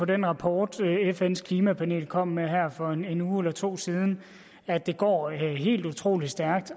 den rapport fns klimapanel kom med her for en uge eller to siden at det går helt utrolig stærkt